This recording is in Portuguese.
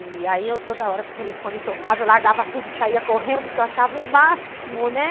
E aí, toda hora que o telefone tocava, eu largava tudo e saía correndo, porque eu achava o máximo, né?